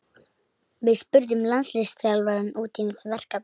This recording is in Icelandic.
Við spurðum landsliðsþjálfarann út í verkefnið.